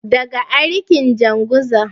daga arikin janguza